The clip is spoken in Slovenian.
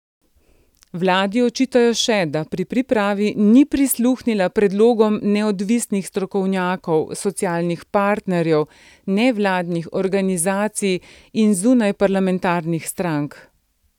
Vladi očitajo še, da pri pripravi ni prisluhnila predlogom neodvisnih strokovnjakov, socialnih partnerjev, nevladnih organizacij in zunajparlamentarnih strank.